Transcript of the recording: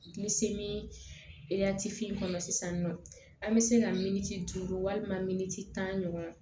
Bilisi min etifiye kɔnɔ sisan nɔ an bɛ se ka min walima miniti tan ɲɔgɔn